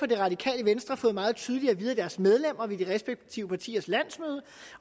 det radikale venstre fået meget tydeligt at vide af deres medlemmer ved de respektive partiers landsmøder